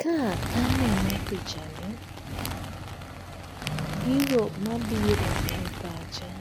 Ka aneno pichani, gigo mabiro e pacha